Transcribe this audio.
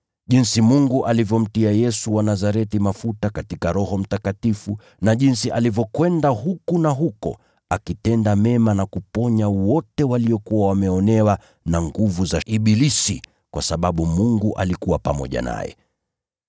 Jinsi Mungu alivyomtia Yesu wa Nazareti mafuta katika Roho Mtakatifu na jinsi alivyokwenda huku na huko akitenda mema na kuponya wote waliokuwa wameonewa na nguvu za ibilisi, kwa sababu Mungu alikuwa pamoja naye.